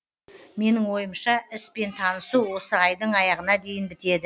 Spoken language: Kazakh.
менің ойымша іспен танысу осы айдың аяғына дейін бітеді